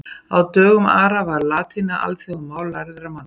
Á dögum Ara var latína alþjóðamál lærðra manna.